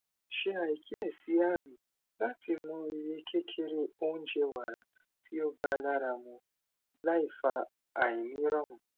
se akiyesi aami lati mo iye kekere ounje wara ti o ba laramu laifa ainirorun